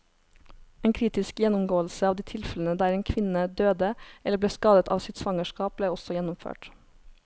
En kritisk gjennomgåelse av de tilfellene der en kvinne døde eller ble skadet av sitt svangerskap, ble også gjennomført.